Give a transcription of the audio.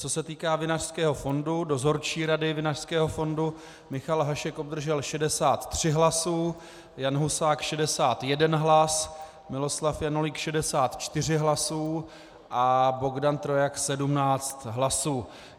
Co se týká Vinařského fondu, dozorčí rady Vinařského fondu, Michal Hašek obdržel 63 hlasy, Jan Husák 61 hlas, Miloslav Janulík 64 hlasy a Bogdan Trojak 17 hlasů.